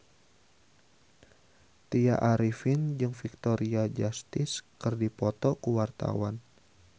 Tya Arifin jeung Victoria Justice keur dipoto ku wartawan